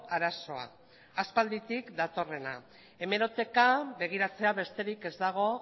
arazoa aspalditik datorrena hemeroteka begiratzea besterik ez dago